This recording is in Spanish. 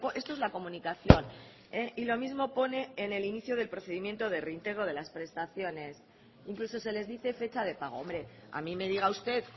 esto es la comunicación y lo mismo pone en el inicio del procedimiento de reintegro de las prestaciones incluso se les dice fecha de pago hombre a mí me diga usted